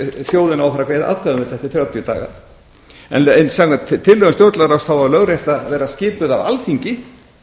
þjóðin á að fara að greiða atkvæði um þetta eftir þrjátíu daga en samkvæmt tillögum stjórnlagaráðs á lögrétta að vera skipuð af alþingi